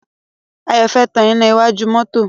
Ayọ̀ fẹ́ tan iná iwájú mọ́tọ́.